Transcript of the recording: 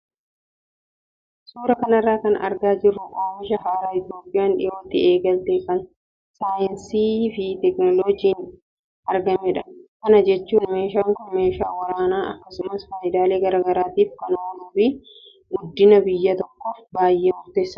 Suuraa kanarraa kan argaa jirru oomisha haaraa Itoophiyaan dhiyootti eegalte kan saayinsii fi teekinooloojiin argameedha. Kana jechuun meeshaan kun meeshaa waraanaa akkasumas fayidaalee garaagaraatiif kan ooluu fi guddina biyya tokkoof baay'ee murteessaadha.